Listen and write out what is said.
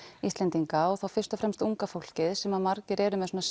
Íslendinga og þá fyrst og fremst unga fólkið sem margir eru með svona